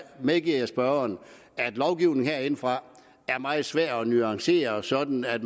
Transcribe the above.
medgiver jeg spørgeren at lovgivning herindefra er meget svær at nuancere sådan at